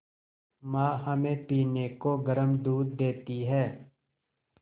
माँ हमें पीने को गर्म दूध देती हैं